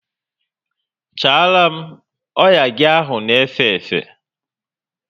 Chara m! Oya gị ahụ na efe efe!